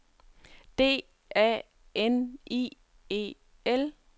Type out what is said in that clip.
D A N I E L